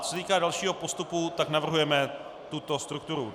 Co se týká dalšího postupu, tak navrhujeme tuto strukturu.